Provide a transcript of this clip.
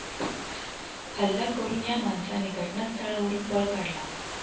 हल्ला करून या माणसाने घटनास्थळावरून पळ काढला.